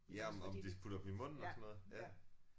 Ja om om de putter dem i munden og sådan noget ja